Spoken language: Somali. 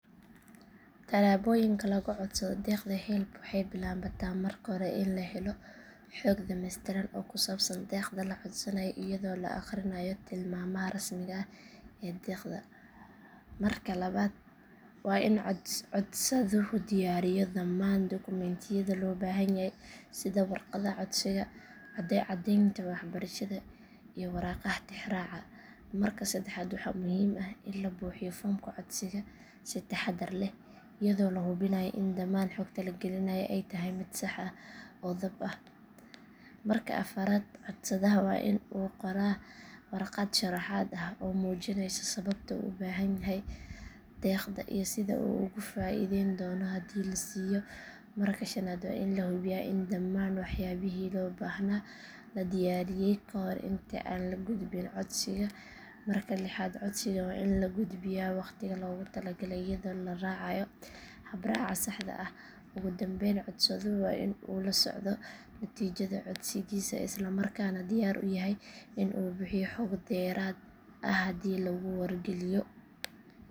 Talaboyinka lagucodsadi degta help waxay biawata marka hore in lahelo hoog damestiraan oo kusabsan degta lacodsanayo iyado aarkayo malmaha rasmi ah ee , iyafo lahubinayo in daman hogta lagainayo ay tahay mid sah oo daab ah, marka afarat codsadaha wa in uu qoraa , warqat samahat ah oo mujinaysa sawabto ubahamyahau degdha iyo sidhu ogufaideyntono hadhi lasiyo , marka shanad wa in hayay in daaman waxyali lobahayahay kadiuariye kahor inta aan lagudbin codsiga, marka lihat codsiga wa in lagufbiya wagtiga logutalagalay iyado laracayo toxraca saja ah, ogudambeyn codsaduhu wa in uu lasocdo natijada codsigisa islamaarkana diyar uyahay inu bihiyo hoog derat ah, hadhi laguwargaliyo.